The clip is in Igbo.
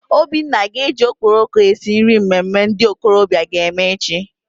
Obinna ga-eji okporoko esi nri mmemme ndị okorobịa aga eme echi.